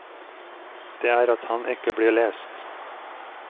Det er at han ikke blir lest.